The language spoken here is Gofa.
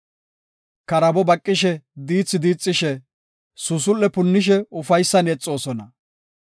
Karaabo baqishe diithi diixishe, suusul7e punnishe ufaysan yexoosona.